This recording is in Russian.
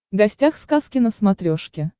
гостях сказки на смотрешке